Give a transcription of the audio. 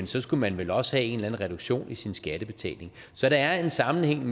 så skulle man vel også have en reduktion i sin skattebetaling så der er en sammenhæng